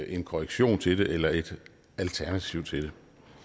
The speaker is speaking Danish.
en korrektion til det eller et alternativ til det